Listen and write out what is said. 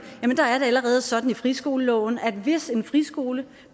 er det allerede sådan i friskoleloven at hvis en friskole